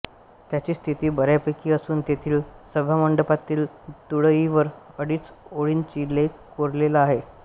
त्याची स्थिती बऱ्यापैकी असून तेथील सभामंडपातील तुळईवर अडीच़ ओळींच़ा लेख कोरलेला आहे